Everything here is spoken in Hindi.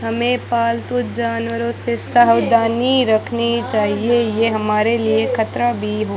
हमें पालतू जानवरों से सावधानी रखनी चाहिए यह हमारे लिए खतरा भी हो --